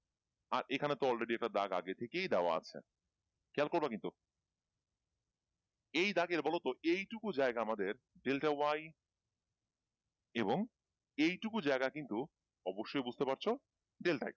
আর এখানে তো already একটা দাগ আগে থেকেই দেওয়া আছে খেয়াল করবা কিন্তু এই দাগের বলতো এইটুকু জায়গা আমাদের delta y এবং এইটুকু জায়গা কিন্তু অবশ্যই বুঝতে পারছ delta x